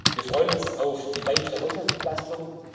dafür. Wir freuen uns auf die weitere Haushaltsentlastung.